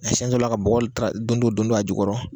A siɲɛ dɔw la ka bɔgɔ don-don don-don a jukɔrɔ